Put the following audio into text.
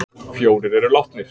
Fjórir eru látnir